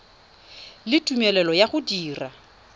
le tumelelo ya go dira